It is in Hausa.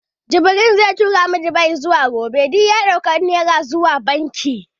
Jibril zai tura mu izuwa Dubai gobe. Duk ya ɗauki takardun Naira izuwa banki.